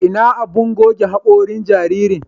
Ina abun goge haƙorin jaririn?